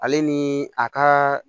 Ale ni a ka